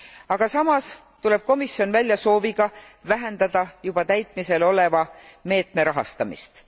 Aga samas tuleb komisjon välja sooviga vähendada juba täitmisel oleva meetme rahastamist.